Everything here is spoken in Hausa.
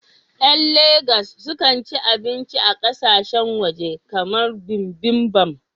Ƴan Legas sukan ci abinci a ƙasashen waje kamar bibimbap